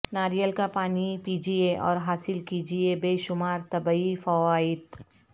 ناریل کا پانی پیجئے اور حاصل کیجئے بے شمار طبی فوائد